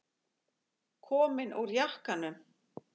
Komin úr jakkanum.